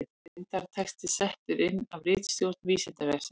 Myndatexti settur inn af ritstjórn Vísindavefsins.